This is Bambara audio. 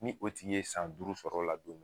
Ni o tigi ye san duuru sɔrɔ o la don min